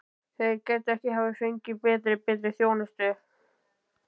Þeir gætu ekki hafa fengið betri. betri þjónustu.